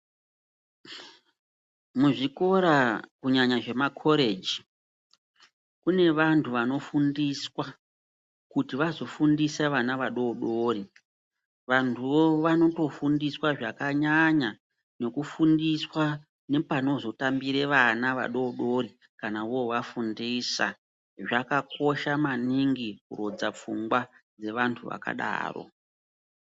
Muzvikora, kunyanya zvemakhoreji, kunevantu vanofundiswa kuti vazofundisa vana vadodori. Vantuwo vanotofundiswa zvakanyanya nokufundiswa nepanozotambire vana vadodori kana vovafundisa. Zvakakosha maningi kurodza pfungwa dzevantu vakadaro.